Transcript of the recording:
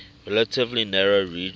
relatively narrow region